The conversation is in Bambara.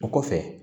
O kɔfɛ